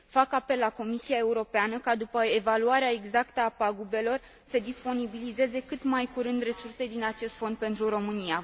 Fac apel la Comisia Europeană ca după evaluarea exactă a pagubelor să disponibilizeze cât mai curând resurse din acest fond pentru România.